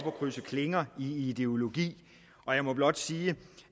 at krydse klinger i ideologi og jeg må blot sige